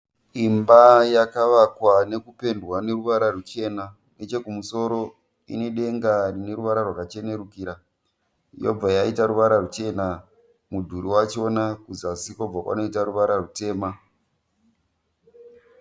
Imba yakavakwa nekupendwa neruvara ruchena . Nechekumusoro ine denga rine ruvara rwakachenerukira . Yobva yaita ruvara ruchena mudhuri wachona kuzasi kobva kwanoita ruvara rutema.